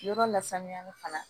Yɔrɔ la sanuyali fana